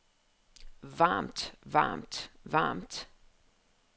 varmt varmt varmt